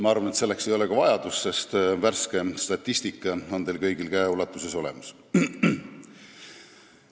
Ma arvan, et selleks ei ole ka vajadust, sest värske statistika on teil kõigil käeulatuses olemas.